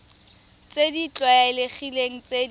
tse di tlwaelegileng tse di